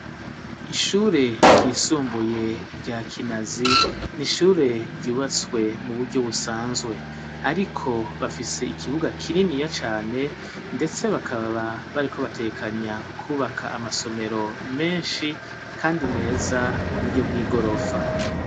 Ishure ryisumbuye rya kinazi ni ishure ryubatswe mu buryo busanzwe, ariko bafise ikibuga kininiya cane, ndetse bakababa bariko batekanya kwubaka amasomero menshi, kandi mweza ku buryo bw'igorofa.